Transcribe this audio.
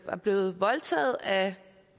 var blevet voldtaget af